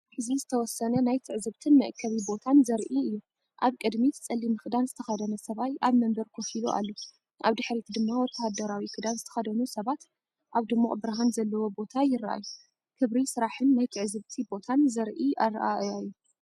እዚ ዝተወሰነ ናይ ትዕዝብትን መአከቢ ቦታን ዘርኢ እዩ። ኣብቅድሚት ጸሊም ክዳን ዝተኸድነ ሰብኣይ ኣብ መንበር ኮፍ ኢሉ ኣሎ፤ ኣብ ድሕሪት ድማ ወተሃደራዊ ክዳን ዝተኸድኑ ሰባት ኣብ ድሙቕብርሃን ዘለዎ ቦታ ይረኣዩ። ክብሪ ስራሕን ናይ ትዕዝብቲ ቦታን ዘርኢ ኣረኣእያ እዩ።